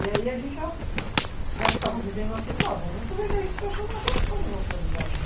E aí a gente já que estava vivendo aquilo, vamos aproveitar isso para chamar a atenção das autoridades.